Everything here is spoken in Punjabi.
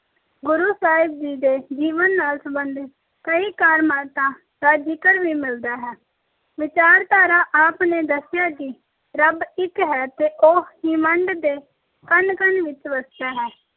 ਗੁਰੂ ਸਾਹਿਬ ਦੇ ਜੀਵਨ ਨਾਲ ਸੰਬੰਧਿਤ ਕਈ ਕਰਾਮਾਤਾਂ ਦਾ ਜ਼ਿਕਰ ਵੀ ਮਿਲਦਾ ਹੈ। ਵਿਚਾਰਧਾਰਾ- ਆਪ ਨੇ ਦੱਸਿਆ ਕਿ ਰੱਬ ਇੱਕ ਹੈ ਤੇ ਉਹ ਹਿਮੰਡ ਦੇ ਕਣ-ਕਣ ਵਿੱਚ ਵਸਦਾ ਹੈ।